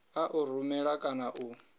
a u rumela kana u